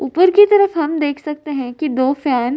ऊपर की तरफ हम देख सकते हैं कि दो फैन --